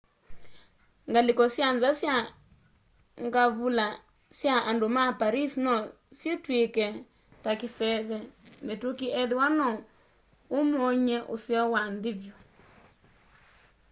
ngalĩko sya nza sya ngavula sya andũ ma paris no sitwĩke ta kĩseve mĩtũkĩ ethĩwa no ũmony'e ũseo wa nthĩ vyũ